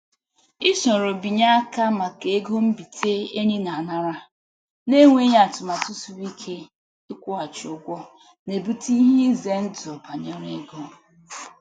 I soro binye aka maka ego mbite enyi na-anara, na-enweghị atụmatụ siri ike ịkwụghachi ụgwọ na-ebute ihe ize ndụ banyere ego.